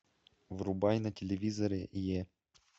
врубай на телевизоре е